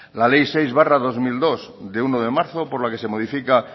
le ley seis barra dos mil dos de uno de marzo por la que se modifica